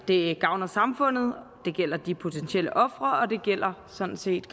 det gavner samfundet det gælder de potentielle ofre og det gælder sådan set